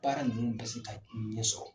Baara ninnu bɛ ka ɲɛsɔrɔ.